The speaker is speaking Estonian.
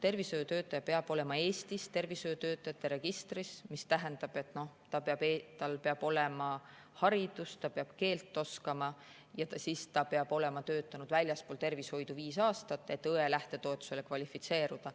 Tervishoiutöötaja peab olema Eesti tervishoiutöötajate registris, mis tähendab, et tal peab olema haridus, ta peab keelt oskama ja ta peab olema töötanud väljaspool tervishoidu viis aastat, et õe lähtetoetusele kvalifitseeruda.